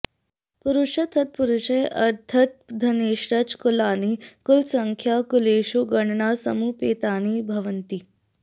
पुरुषतः सत्पुरुषैः अर्थतः धनैश्च कुलानि कुलसंख्यां कुलेषु गणनां समुपेतानि भवन्ति